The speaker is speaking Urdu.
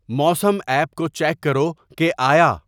موسم ایپ کو چیک کرو کہ آیا